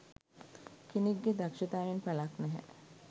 කෙනෙක් ගෙ දක්ශතාවයෙන් පලක් නෑ